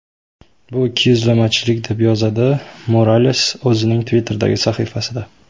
Bu ikkiyuzlamachilik”, deb yozadi Morales o‘zining Twitter’dagi sahifasida.